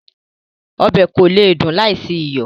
Ọbẹ̀ kò lè dùn láì sí iyọ̀